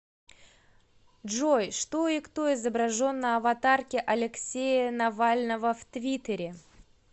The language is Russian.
джой что и кто изображен на аватарке алексея навального в твиттере